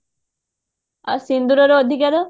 ଆଉ ସିନ୍ଦୁରର ଅଧିକାର